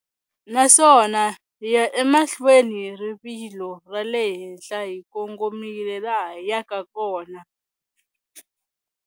Naswona hi ya emahlweni hi rivilo ra le henhla hi kongomile laha hi yaka kona.